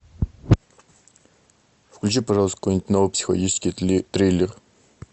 включи пожалуйста какой нибудь новый психологический триллер